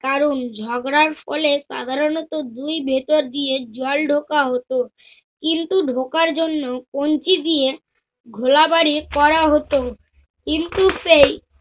কারণ ঝগরার ফলে সাধারণত দুই ভেতর দিয়ে জল ঢোকা হত। কিন্তু ঢোকার জন্য কঞ্চি দিয়ে ঘোড়াবাড়ি করা হত। কিন্তু সেই